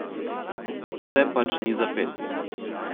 Vse pač ni za pet.